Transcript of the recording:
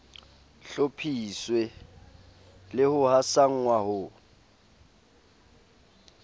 hlophiswe le ho hasanngwa ho